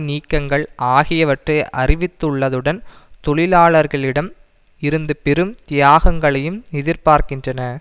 நீக்கங்கள் ஆகியவற்றை அறிவித்துள்ளதுடன் தொழிலாளர்களிடம் இருந்து பெரும் தியாகங்களையும் எதிர்பார்க்கின்றன